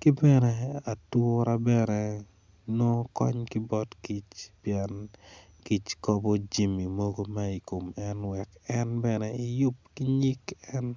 ki bene atura bene nongo kony ki bot kic pien kic kobo jami mogo ma i kom en wek en bene iyub ki nyig en.